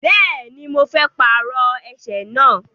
Bẹ́ẹ̀ni, mo fẹ́ pàrọ ẹsẹ̀ náà.